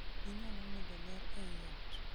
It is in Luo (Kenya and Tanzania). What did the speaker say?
Inyalo medo ler ei ot